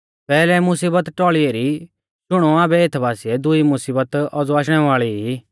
पैहलै मुसीबत टौल़ी एरी शुणौ आबै एथ बासिऐ दुई मुसीबत औज़ौ आशणै वाल़ी ई